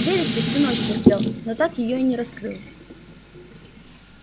веришь ли всю ночь терпел но так её и не раскрыл